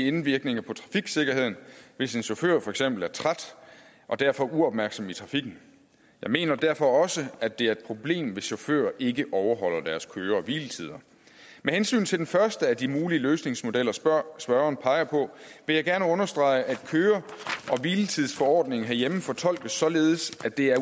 indvirkning på trafiksikkerheden hvis en chauffør for eksempel er træt og derfor uopmærksom i trafikken jeg mener derfor også at det er et problem hvis chauffører ikke overholder deres køre og hviletider med hensyn til den første af de mulige løsningsmodeller spørgeren spørgeren peger på vil jeg gerne understrege at køre og hviletidsforordningen herhjemme fortolkes således at det er